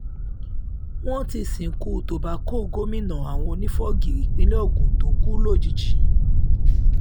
wọ́n ti sìnkú tobacco gómìnà àwọn onífọ́gi ìpínlẹ̀ ogun tó kú lójijì